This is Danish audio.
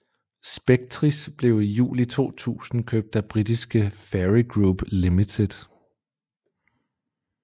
Spectris blev i juli 2000 købt af britiske Fairey Group Ltd